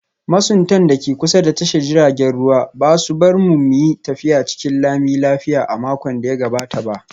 Masuntan da ke kusa da tashar jiragen ruwa ba su bar mu mu yi tafiya cikin lami lafiya a makon da ya gabata ba